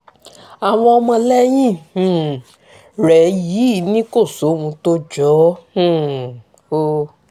àwọn ọmọlẹ́yìn um rẹ̀ yìí ni kò sóhun tó jọ ọ́ um o